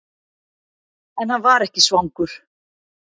En hann var ekki svangur.